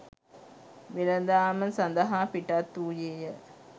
වෙළඳාම සඳහා පිටත් වූයේය.